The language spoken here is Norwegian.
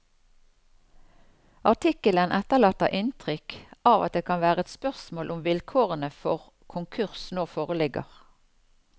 Artikkelen etterlater inntrykk av at det kan være et spørsmål om vilkårene for konkurs nå foreligger.